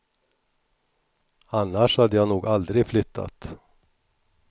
Annars hade jag nog aldrig flyttat.